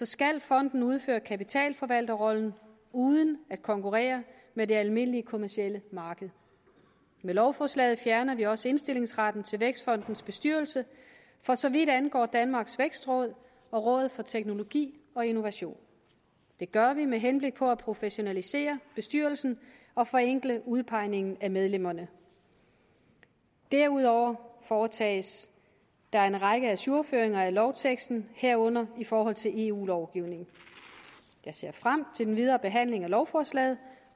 skal fonden udføre kapitalforvalterrollen uden at konkurrere med det almindelige kommercielle marked med lovforslaget fjerner vi også indstillingsretten til vækstfondens bestyrelse for så vidt angår danmarks vækstråd og rådet for teknologi og innovation det gør vi med henblik på at professionalisere bestyrelsen og forenkle udpegningen af medlemmerne derudover foretages der en række ajourføringer af lovteksten herunder i forhold til eu lovgivningen jeg ser frem til den videre behandling af lovforslaget